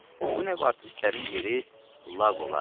Bu növ artistlərin yeri lağ olar.